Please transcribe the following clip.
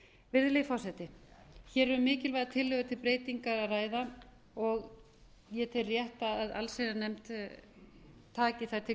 virðulegi forseti hér er um mikilvæga tillögu til breytinga að ræða og ég tel rétt að allsherjarnefnd taki þær til